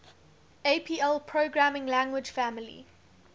apl programming language family